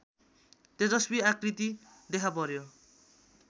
तेजस्वी आकृति देखापर्‍यो